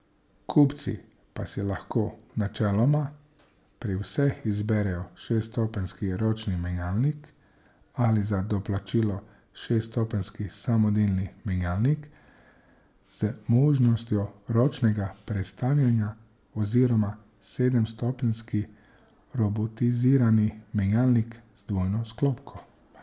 Kupci pa si lahko načeloma pri vseh izberejo šeststopenjski ročni menjalnik ali za doplačilo šeststopenjski samodejni menjalnik z možnostjo ročnega prestavljanja oziroma sedemstopenjski robotizirani menjalnik z dvojno sklopko.